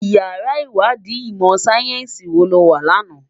Iyàrá Iwàdí imò sáyènsí wó lò wá làná?